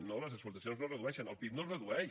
no les exportacions no es redueixen el pib no es redueix